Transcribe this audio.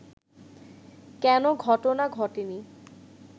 কেনো ঘটনা ঘটেনি